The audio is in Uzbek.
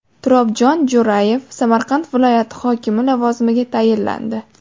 Turobjon Jo‘rayev Samarqand viloyati hokimi lavozimiga tayinlandi .